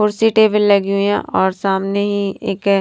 कुर्सी टेबल लगी हुई है और सामने ही एक--